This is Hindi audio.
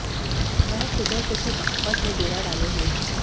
वह सुबह से ही बागपत में डेरा डाले हुए थे